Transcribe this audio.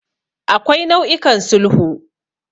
Akwai nau'ikan sulhu.